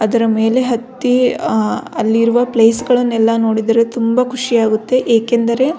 ಅದರ ಮೆಲೆ ಹತ್ತಿ ಅಲ್ಲಿರುವ ಪ್ಲೇಸ್ ಗಳನ್ನೆಲ್ಲ ನೋಡಿದರೆ ತುಂಬ ಖುಷಿಯಾಗುತ್ತೆ ಏಕೆಂದರೆ --